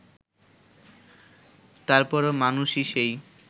তারপরও মানুষই সেই